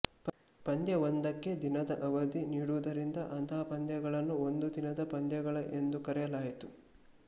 ಪಂದ್ಯವೊಂದಕ್ಕೆ ದಿನದ ಅವದಿ ನೀಡುವುದರಿಂದ ಅಂತಹ ಪಂದ್ಯಗಳನ್ನು ಒಂದು ದಿನದ ಪಂದ್ಯಗಳ ಎಂದು ಕರೆಯಲಾಯಿತು